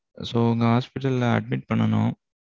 So, உங்க hospital ல admit பண்ணனும்.